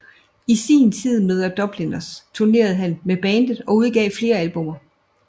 I sin tid med The Dubliners turnerede han med bandet og udgav flere albummer